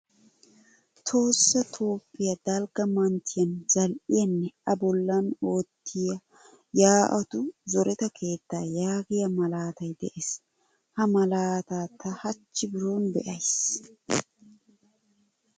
Tohossa toophphiyaa dalgga manttiyan zal'iyaanne a bollan oottiyaa ya'atu zooretta keetta yaagiya malaatay de'ees. Ha malaata ta hachchi bironi beaysi.